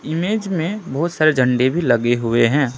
Image में बहुत सारे झंडे भी लगे हुए हैं।